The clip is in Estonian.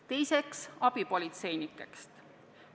Teiseks räägin abipolitseinikest.